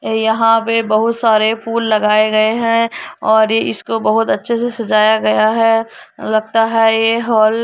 यहां पे बहुत सारे फूल लगाए गए हैं और इस को बहुत अच्छे से सजाया गया है लगता है ये हॉल --